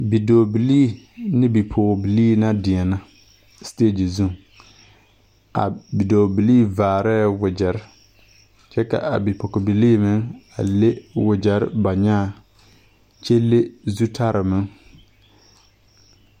Bidɔɔbilii ne bipɔgebilii la deɛna sitegye zu a bidɔɔbilii vaarɛɛ wagyɛre kyɛ ka a bipɔgebilii meŋ a le wagyɛre ba nyaa kyɛ le zutare meŋ.